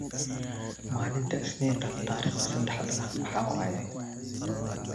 malinta isninta tariqda saxda ahh maxawaye